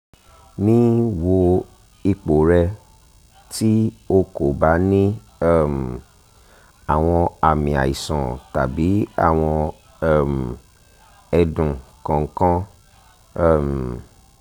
nii wo ipo rẹ ti o ko ba ni um awọn aami aiṣan tabi awọn um ẹdun kankan um